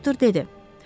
Doktor dedi.